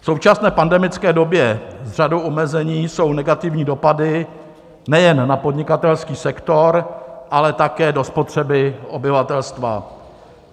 V současné pandemické době s řadou omezení jsou negativní dopady nejen na podnikatelský sektor, ale také do spotřeby obyvatelstva.